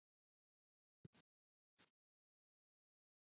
Bleikja er tegundarheiti en murta er heiti á afbrigði eins og við sögðum áðan.